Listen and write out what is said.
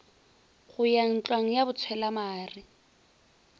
go ya ntlwang ya botshwelamare